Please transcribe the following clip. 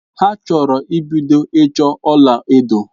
Ha chọrọ ibido ịchọ ọla edo.